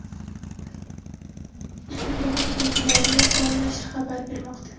Bu haqda Diario Gol nashri xabar bermoqda.